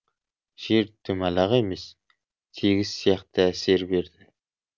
жер домалақ емес тегіс сияқты әсер берді